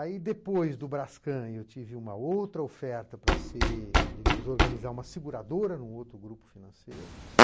Aí, depois do Brascan, eu tive uma outra oferta para ser, digamos, organizar uma seguradora em um outro grupo financeiro.